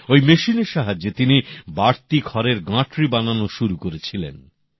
ঐ মেশিনের সাহায্যে তিনি বাড়তি খড়ের গাঁটরি বানানো শুরু করেছিলেন